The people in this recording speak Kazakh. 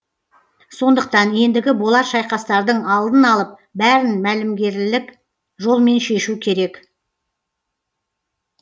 сондықтан ендігі болар шайқастардың алдын алып бәрін мәлімгерлік жолмен шешу керек